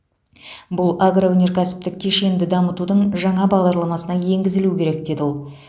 бұл агроөнеркәсіптік кешенді дамытудың жаңа бағдарламасына енгізілуі керек деді ол